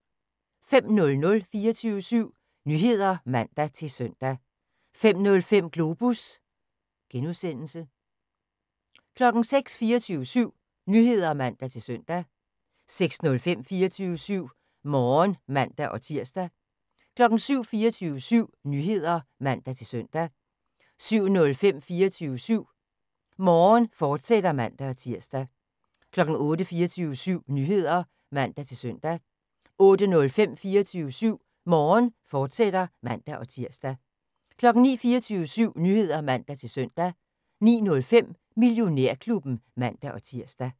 05:00: 24syv Nyheder (man-søn) 05:05: Globus (G) 06:00: 24syv Nyheder (man-søn) 06:05: 24syv Morgen (man-tir) 07:00: 24syv Nyheder (man-søn) 07:05: 24syv Morgen, fortsat (man-tir) 08:00: 24syv Nyheder (man-søn) 08:05: 24syv Morgen, fortsat (man-tir) 09:00: 24syv Nyheder (man-søn) 09:05: Millionærklubben (man-tir)